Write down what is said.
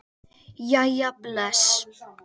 Jæja bless